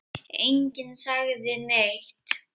Enginn sagði neitt.